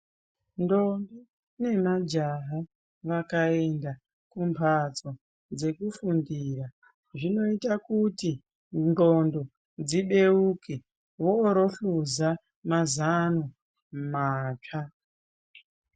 Ndombi nemajaha vakaenda kumbatso dzekufundira zvinoita Kuti ndxondlo dzibeuke vozohluza mazano matsva.